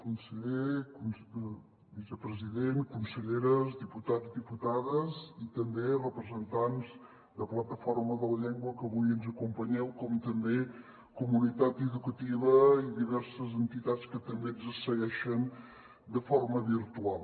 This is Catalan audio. conseller vicepresident conselleres diputats diputades i també representants de la plataforma per la llengua que avui ens acompanyeu com també comunitat educativa i diverses entitats que també ens segueixen de forma virtual